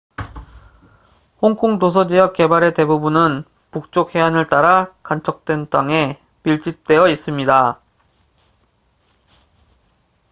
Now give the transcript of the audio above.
홍콩 도서지역 개발의 대부분은 북쪽 해안을 따라 간척된 땅에 밀집되어 있습니다